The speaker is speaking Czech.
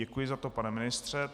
Děkuji za to, pane ministře.